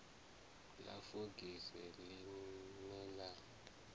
ḽa fogisi ḽi ne ḽa